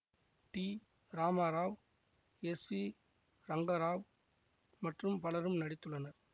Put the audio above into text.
D Ramarao S V Rangarao மற்றும் பலரும் நடித்துள்ளனர்